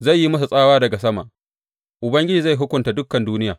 Zai yi musu tsawa daga sama, Ubangiji zai hukunta dukan duniya.